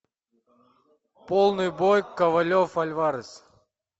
полный бой ковалев альварес